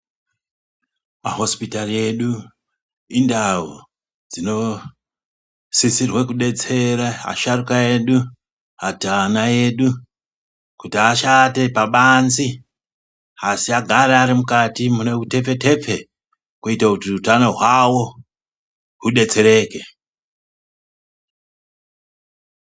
Mahosipitari edu endau dzinosisirwa kudetsere asharukwa edu kana kuti ana edu ashande pabanze asi agare ari mukati mune utepfe tepfe munogara kuti hutano hwavo hudetsereke .